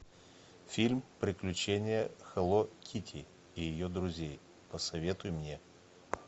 фильм приключения хелло китти и ее друзей посоветуй мне